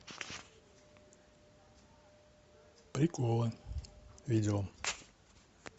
приколы видео